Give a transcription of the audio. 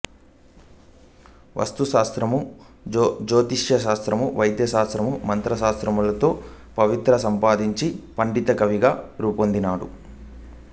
వాస్తుశాస్త్రము జ్యోతిషశాస్త్రము వైద్యశాస్త్రము మంత్రశాస్త్రములలో ప్రావీణ్యం సంపాదించి పండితకవిగా రూపొందాడు